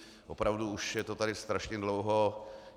Opravdu už je to tady strašně dlouho.